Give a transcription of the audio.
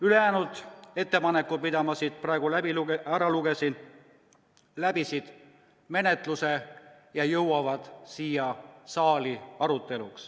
" Ülejäänud ettepanekud, mis ma siin praegu üles lugesin, läbisid menetluse ja jõuavad siia saali arutelule.